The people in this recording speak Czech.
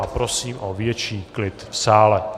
A prosím o větší klid v sále.